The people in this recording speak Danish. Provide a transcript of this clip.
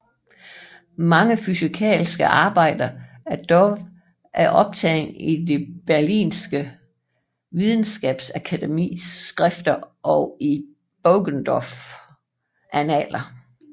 Mange fysikaliske arbejder af Dove er optagne i det berlinske Videnskabernes Akademis skrifter og i Poggendorfs Annaler